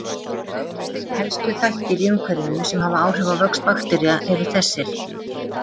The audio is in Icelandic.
Helstu þættir í umhverfi sem hafa áhrif á vöxt baktería eru þessir